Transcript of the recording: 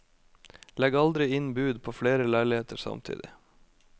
Legg aldri inn bud på flere leiligheter samtidig.